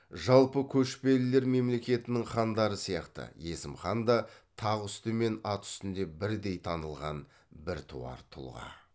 жалпы көшпелілер мемлекетінің хандары сияқты есім хан да тақ үсті мен ат үстінде бірдей танылған біртуар тұлға